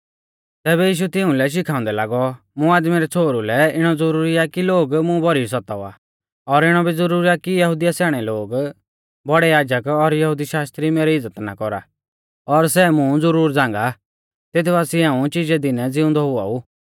तैबै यीशु तिउंलै शिखाउंदै लागौ मुं आदमी रै छ़ोहरु लै इणौ ज़रूरी आ कि लोग मुं भौरी सतावा और इणौ भी ज़रुरी आ कि यहुदी स्याणै लोग बौड़ै याजक और यहुदी शास्त्री मेरी इज़्ज़त ना कौरा और सै मुं ज़ुरुर झ़ांगा तेत बासिऐ हाऊं चिजै दिनै ज़िउंदौ हुआ ऊ